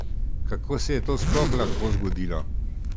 Kako se je to sploh lahko zgodilo?